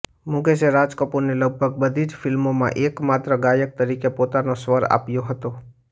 મુકેશે રાજ કપૂરની લગભગ બધી જ ફિલ્મોમાં એકમાત્ર ગાયક તરીકે પોતાનો સ્વર આપ્યો હતો